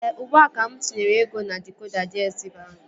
Ee, ugbua ka mụ tinyere ego na dịkoda DSTV ahụ